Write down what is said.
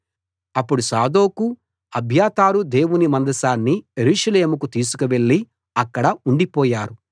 అప్పుడు సాదోకు అబ్యాతారు దేవుని మందసాన్ని యెరూషలేముకు తీసుకువెళ్ళి అక్కడ ఉండిపోయారు